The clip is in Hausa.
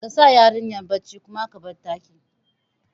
Kasa yarinyar bacci kuma ka bar ɗakin